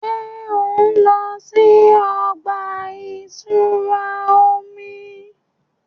Ṣe o nlọ si ọgba-itura omi?